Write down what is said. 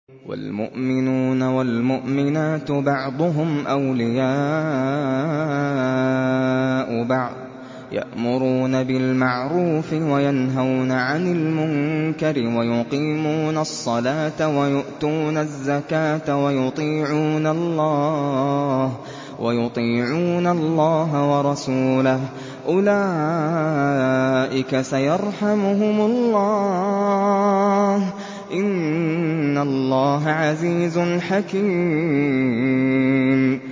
وَالْمُؤْمِنُونَ وَالْمُؤْمِنَاتُ بَعْضُهُمْ أَوْلِيَاءُ بَعْضٍ ۚ يَأْمُرُونَ بِالْمَعْرُوفِ وَيَنْهَوْنَ عَنِ الْمُنكَرِ وَيُقِيمُونَ الصَّلَاةَ وَيُؤْتُونَ الزَّكَاةَ وَيُطِيعُونَ اللَّهَ وَرَسُولَهُ ۚ أُولَٰئِكَ سَيَرْحَمُهُمُ اللَّهُ ۗ إِنَّ اللَّهَ عَزِيزٌ حَكِيمٌ